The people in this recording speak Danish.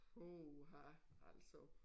Uha altså